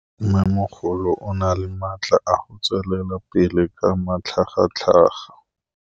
Mmêmogolo o na le matla a go tswelela pele ka matlhagatlhaga.